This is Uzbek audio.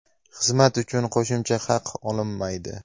Xizmat uchun qo‘shimcha haq olinmaydi.